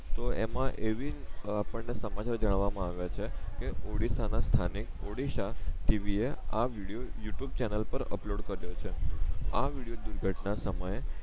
તો એમાં એવી આપણ ને સમાચાર જાણવા માં આવિયા છે કે ઓડીસ્સા ના સ્થાનિક ઓડીસા ટીવી એ આ વિડિયો યૂ ટ્યુબ ચેનલ પર અપલોડ કરિયો છે આ વિડિયો દુર્ઘટના સમયે